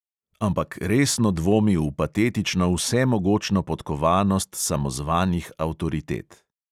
Ampak resno dvomi v patetično vsemogočno podkovanost samozvanih avtoritet.